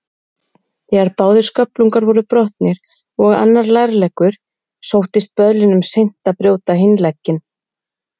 Þegar báðir sköflungar voru brotnir og annar lærleggur, sóttist böðlinum seint að brjóta hinn legginn.